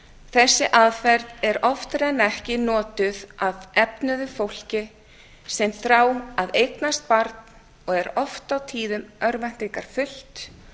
þessi aðferð er oftar en ekki notuð af efnuðu fólki sem þráir að eignast barn og er oft á tíðum örvæntingarfullt